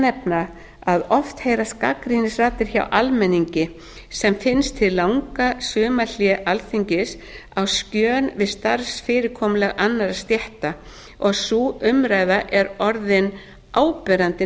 nefna að oft heyrast gagnrýnisraddir hjá almenningi sem finnst hið langa sumarhlé alþingis á skjön við starfsfyrirkomulag annarra stétta sú umræða er orðin áberandi